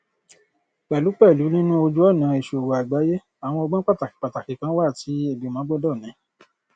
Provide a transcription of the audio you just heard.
pẹlúpẹlù nínú ojúọnà ìṣòwò àgbáyé àwọn ọgbọn pàtàkí pàtàkí kan wà tí ìgbìmọ gbọdọ ní